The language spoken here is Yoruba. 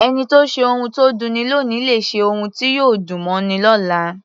Ẹni tó ṣe ohun tó dunni lóòní lè ṣe ohun tí yóò dùn mọ́ni lọ́la.